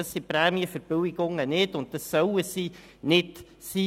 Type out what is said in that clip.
Das sind die Prämienverbilligungen nicht, und das sollen sie nicht sein.